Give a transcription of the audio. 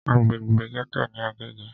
Agbègbè gẹ́tò ní Agége.